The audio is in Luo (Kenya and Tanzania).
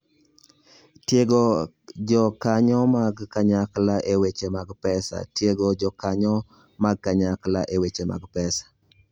Tiego Jokanyo mag Kanyakla e Weche mag Pesa: Tiego jokanyo mag kanyakla e weche mag pesa.